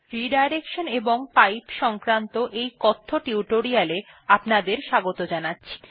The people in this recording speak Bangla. রিডাইরেকশন এবং পাইপস সংক্রান্ত এই কথ্য টিউটোরিয়ালটিতে আপনাদের স্বাগত জানাচ্ছি